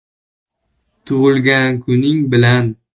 Tug‘ilgan kuning bilan!